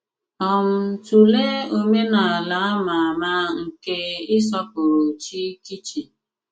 um Tụléè òmènàlà à mà àmà nkè ịsọpụrụ chí kìchìn.